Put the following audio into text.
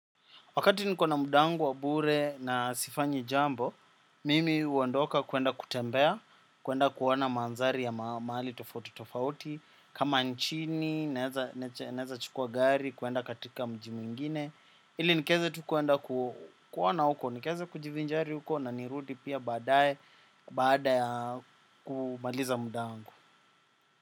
Wakati niko na muda wangu wa bure na sifanyi jambo, mimi huondoka kuenda kutembea, kuenda kuona mandhari ya mahali tofauti tofauti, kama nchini, naeza chukua gari, kuenda katika mji mwingine, ili nikaeze tu kuenda kuona huko, nikiweza kujivinjari huko na nirudi pia baadae, baada ya kumaliza muda wangu.